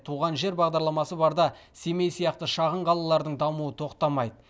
туған жер бағдарламасы барда семей сияқты шағын қалалардың дамуы тоқтамайды